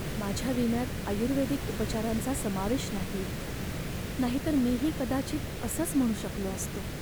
माझ्या विम्यात आयुर्वेदिक उपचारांचा समावेश नाहीये, नाहीतर मीही कदाचित असंच म्हणू शकलो असतो.